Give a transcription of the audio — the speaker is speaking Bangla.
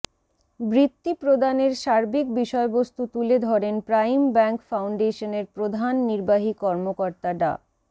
বৃত্তি প্রদানের সার্বিক বিষয়বস্তু তুলে ধরেন প্রাইম ব্যাংক ফাউন্ডেশনের প্রধান নির্বাহী কর্মকর্তা ডা